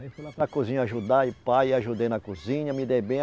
Aí fui lá para a cozinha ajudar e pá, e ajudei na cozinha, me dei bem.